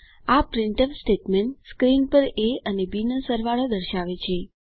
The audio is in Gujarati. આ પ્રિન્ટફ સ્ટેટમેન્ટ સ્ક્રીન પર એ અને બી નો સરવાળો દર્શાવે છે